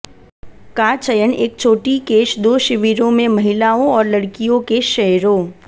का चयन एक छोटी केश दो शिविरों में महिलाओं और लड़कियों के शेयरों